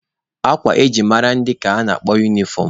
Akwa eji mara ndị ka a na-akpọ unifọm.